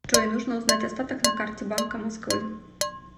джой нужно узнать остаток на карте банка москвы